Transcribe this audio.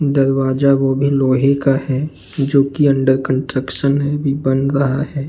दरवाजा वो भी लोहे का है जोकि अंडर कंस्ट्रक्शन है अभी बन रहा है।